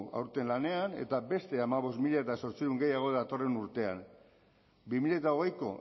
aurten lanean eta beste hamabost mila zortziehun gehiago datorren urtean bi mila hogeiko